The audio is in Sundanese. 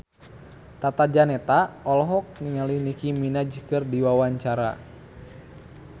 Tata Janeta olohok ningali Nicky Minaj keur diwawancara